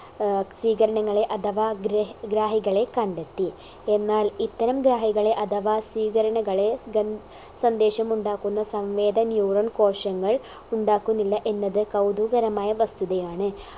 ഏർ സ്വീകരണങ്ങളെ അഥവാ ഗ്രഹ് ഗ്രാഹികളെ കണ്ടെത്തി എന്നാൽ ഇത്തരം ഗ്രാഹികളെ അഥവാ സ്വീകരണകളെ ഗൻ സന്ദേശമുണ്ടാക്കുന്ന സംവേദ neuron കോശങ്ങൾ ഉണ്ടാക്കുന്നില്ല എന്നത് കൗതുകകരമായ വസ്തുതയാണ്